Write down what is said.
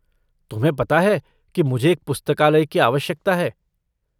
तुम्हे पता है कि मुझे एक पुस्तकालय की आवश्यकता है।